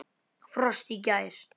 Frost í gær.